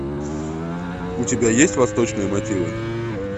у тебя есть восточные мотивы